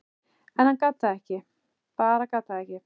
en hann gat það ekki, bara gat það ekki.